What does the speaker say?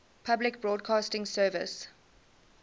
public broadcasting service